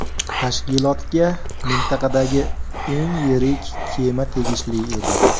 Tashkilotga mintaqadagi eng yirik kema tegishli edi.